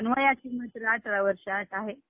हम्म सहावीत असताना, कोकणात गेल्ती हिकडं.